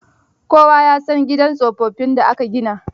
Kowa ya san gidan tsofaffin da aka gina.